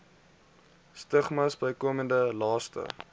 stigmas bykomende laste